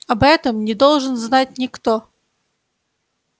об этом не должен знать никто